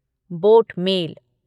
boat mail